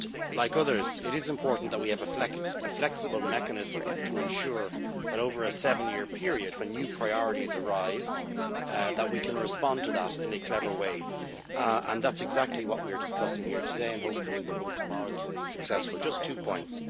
Like others, I consider it is important that we have a flexible mechanism to ensure, over a seven year period, when new priorities arise, that we can respond to that in a clever way, and that is exactly what we are discussing here today, and hopefully in the vote tomorrow that will be successful. Just two points.